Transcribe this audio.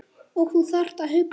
Og þú þarft að hugsa.